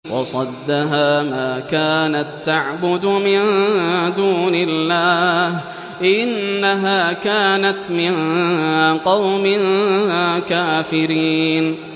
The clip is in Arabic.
وَصَدَّهَا مَا كَانَت تَّعْبُدُ مِن دُونِ اللَّهِ ۖ إِنَّهَا كَانَتْ مِن قَوْمٍ كَافِرِينَ